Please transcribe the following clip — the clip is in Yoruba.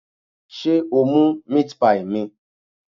Sé o mú meat pie mi?